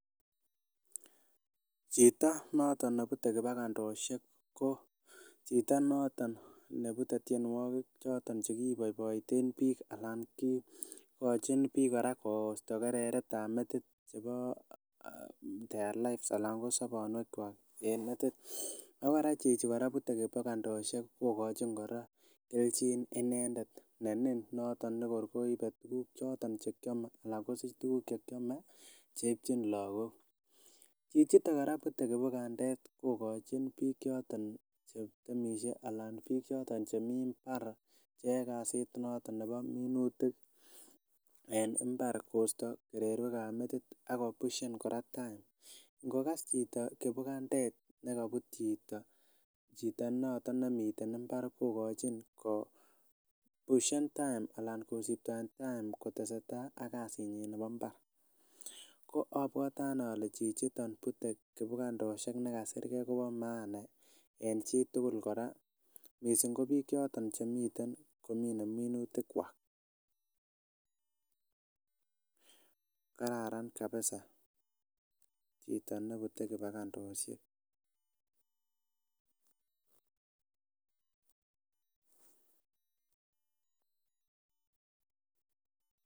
Chito noto ne butee kibugandosiek ko chito noto ne bute tienwokik choton chekiboiboiten biik alan ikochin biik kora koisto kereretab metit nebo their life ala sobonwekwak en metit ako kora chichi bute kibugandosiek kokochin kora kelchin inendet nenin noton nekor koibe tukuk chekiame ala kosich tukuk chekiame cheipchin lakok chichiton kora bute kibugandet kokochin biik choton chetemisie ala ko biik choton chemii mbar cheyoe kasit notok nebo minutik en mbar kosto kererwekab metit ako pushen kora time ingokas chito kibugandet nekobut chito chito notok nemiten mbar kokochin kopushen time ala kosiptoen time kotesetai ak kasinyin nebo mbar ko abwote anee ale chichiton bute kibugandosiek nekasirge kobo maana en chitugul kora missing ko biik choton chemi komine minutikwak kararan kabisa chito nito nibute kibugandosiek.